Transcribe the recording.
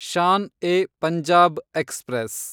Shan e Punjab express